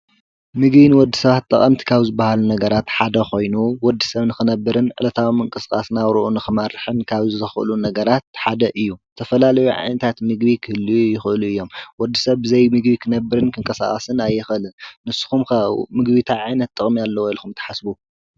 ምግቢ ወዲ ሰባት ጥቐምቲ ካብ ዝበሃሉ ነገራት ሓደ ኾይኑ ወዲ ሰብ ንክነብርን ዕለታዊ ምንቅስቃስ ናብርኡ ንኽመርሕን ካብ ዘኽእሉ ነገራት ሓደ እዩ፡፡ ተፈላለዩ ዓየነታት ምግቢ ክህልዩ ይኽእሉ እዮም፡፡ ወዲ ሰብ ብዘይምግቢ ኽነብርን ክንቀሳቐስን ኣይኸልን፡፡ ንሱኹም ከ ምግቢ ታይ ዓይነት ጥቕሚ ኣለዎ ኢልኹም ተሓስቡ?